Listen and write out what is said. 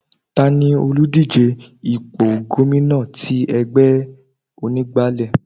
Tani òlùdíje ipò gómìnà tí ẹgbẹ́ onígbálé?